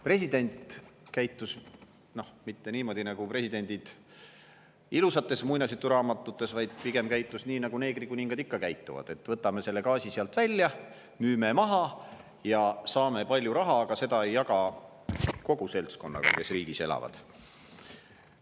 President ei käitunud mitte niimoodi, nagu presidendid käituvad ilusates muinasjuturaamatutes, vaid pigem käitus nii, nagu neegrikuningad ikka käituvad: võtame selle gaasi sealt välja, müüme maha ja saame palju raha, aga seda ei jaga kogu seltskonnaga, kes riigis elavad.